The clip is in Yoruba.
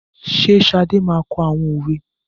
Ṣé Ṣadé máa kọ àwọn òwe?